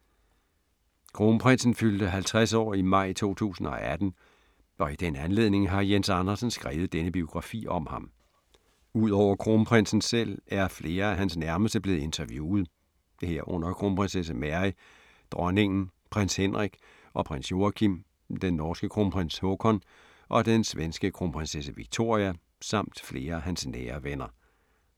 Kronprinsen fyldte 50 år i maj 2018, og i den anledning har Jens Andersen skrevet denne biografi om ham. Ud over Kronprinsen selv er flere af hans nærmeste blevet interviewet, herunder Kronprinsesse Mary, Dronningen, Prins Henrik og Prins Joachim, den norske Kronprins Haakon og den svenske Kronprinsesse Victoria samt flere af hans nære venner.